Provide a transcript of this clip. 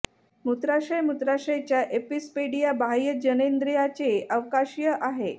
मूत्राशय मूत्राशय च्या एपिसपॅडिया बाह्य जननेंद्रियाचे अवकाशीय आहे